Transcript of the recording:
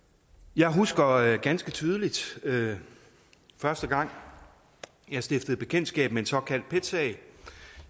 jeg husker ganske tydeligt første gang jeg stiftede bekendtskab med en såkaldt pet sag